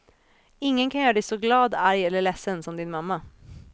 Ingen kan göra dig så glad, arg eller ledsen som din mamma.